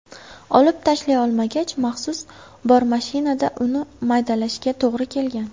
Olib tashlay olmagach, maxsus bormashinada uni maydalashga to‘g‘ri kelgan.